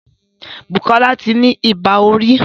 Bukola tí ní Ibà orí